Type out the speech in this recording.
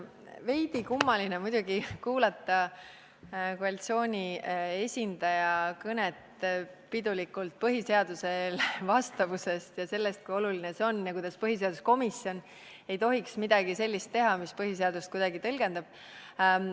Veidi kummaline on muidugi kuulata koalitsiooni esindaja pidulikku kõnet põhiseadusele vastavusest ja sellest, kui oluline see on, ja kuidas põhiseaduskomisjon ei tohiks teha midagi sellist, mis kuidagi põhiseadust tõlgendab.